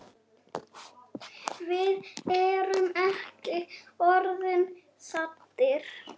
Við erum ekki orðnir saddir.